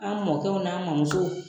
An mɔkɛw n'a mɔmusow